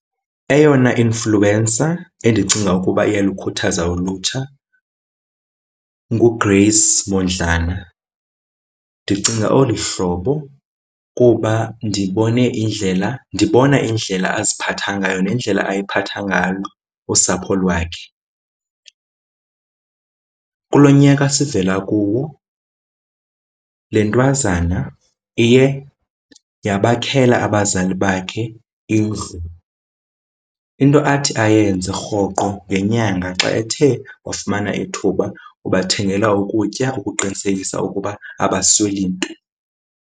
Eyona influencer endicinga ukuba iyalukhuthaza ulutsha nguGrace Mondlana. Ndicinga olu hlobo kuba ndibone indlela, ndibona indlela aziphatha ngayo nendlela ayiphatha ngalo usapho lwakhe. Kulo nyaka sivela kuwo le ntwazana iye yabakhela abazali bakhe indlu. Into athi ayenze rhoqo ngenyanga xa ethe wafumana ithuba ubathengela ukutya ukuqinisekisa ukuba abasweli nto.